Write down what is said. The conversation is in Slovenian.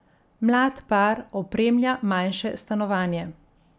Mlad par opremlja manjše stanovanje.